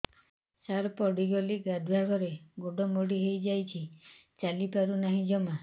ସାର ପଡ଼ିଗଲି ଗାଧୁଆଘରେ ଗୋଡ ମୋଡି ହେଇଯାଇଛି ଚାଲିପାରୁ ନାହିଁ ଜମା